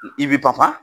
I bi panpa